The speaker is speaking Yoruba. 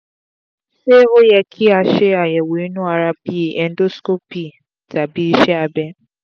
se o ye ki a ṣe àyèwò inu ara bi endoscopy abi iṣẹ́ abẹ